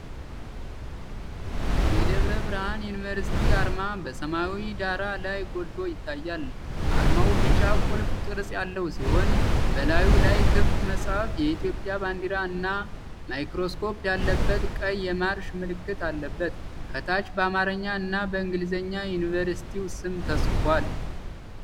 የደብረ ብርሃን ዩኒቨርሲቲ አርማ በሰማያዊ ዳራ ላይ ጎልቶ ይታያል። አርማው ቢጫ ቁልፍ ቅርጽ ያለው ሲሆን፣ በላዩ ላይ ክፍት መጽሐፍ፣ የኢትዮጵያ ባንዲራ እና ማይክሮስኮፕ ያለበት ቀይ የማርሽ ምልክት አለበት። ከታች በአማርኛ እና በእንግሊዝኛ የዩኒቨርሲቲው ስም ተጽፏል።